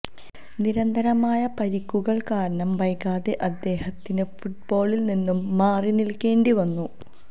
നിരന്തരമായ പരിക്കുകള് കാരണം വൈകാതെ അദ്ദേഹത്തിന് ഫുട്ബോളില് നിന്ന് മാറിനില്ക്കേണ്ടി വന്നു